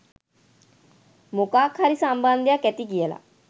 මොකක් හරි සම්බන්ධයක් ඇති කියලා.